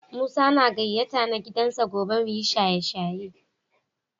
Musa na gayata na gidan sa gobe mu yi shaye-shaye.